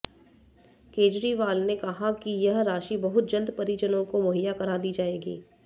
केजरीवाल ने कहा कि यह राशि बहुत जल्द परिजनों को मुहैया करा दी जाएगी